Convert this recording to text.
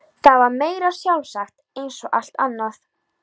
Það var meira en sjálfsagt eins og allt annað.